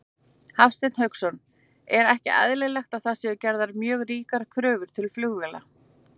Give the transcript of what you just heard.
Hafsteinn Hauksson: Er ekki eðlilegt að það séu gerðar mjög ríkar kröfur til flugvéla?